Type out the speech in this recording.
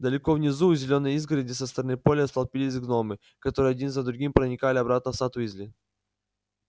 далеко внизу у зелёной изгороди со стороны поля столпились гномы которые один за другим проникали обратно в сад уизли